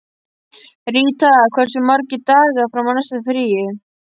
Ríta, hversu margir dagar fram að næsta fríi?